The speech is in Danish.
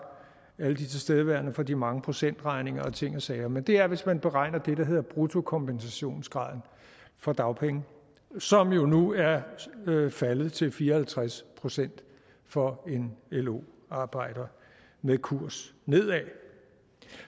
alle de tilstedeværende for de mange procentregninger og ting og sager men det er hvis man beregner det der hedder bruttokompensationsgraden for dagpenge som jo nu er faldet til fire og halvtreds procent for en lo arbejder med kurs nedad